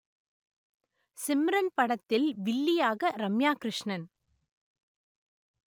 சிம்ரன் படத்தில் வில்லியாக ரம்யா கிருஷ்ணன்